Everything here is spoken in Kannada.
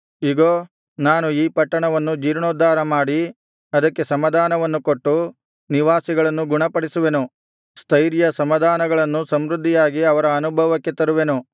ಇಗೋ ನಾನು ಈ ಪಟ್ಟಣವನ್ನು ಜೀರ್ಣೋದ್ಧಾರಮಾಡಿ ಅದಕ್ಕೆ ಸಮಾಧಾನವನ್ನು ಕೊಟ್ಟು ನಿವಾಸಿಗಳನ್ನು ಗುಣಪಡಿಸುವೆನು ಸ್ಥೈರ್ಯ ಸಮಾಧಾನಗಳನ್ನು ಸಮೃದ್ಧಿಯಾಗಿ ಅವರ ಅನುಭವಕ್ಕೆ ತರುವೆನು